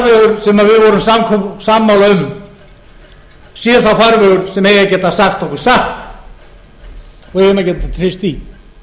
því að sá farvegur sem við vorum sammála um sé sá farvegur sem eigi að geta sagt okkur satt og við eigum að geta treyst því